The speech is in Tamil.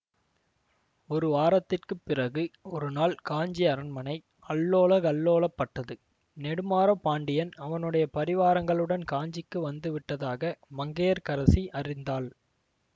ஒரு வாரத்திற்கு பிறகு ஒருநாள் காஞ்சி அரண்மனை அல்லோலகல்லோலப்பட்டது நெடுமாற பாண்டியன் அவனுடைய பரிவாரங்களுடன் காஞ்சிக்கு வந்து விட்டதாக மங்கையர்க்கரசி அறிந்தாள்